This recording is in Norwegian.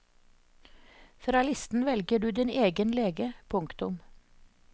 Fra listen velger du din egen lege. punktum